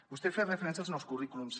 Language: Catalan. vostè feia referència als nous currículums